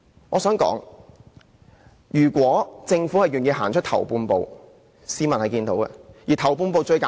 我想指出，如果政府願意走出"頭半步"，市民是會看見的。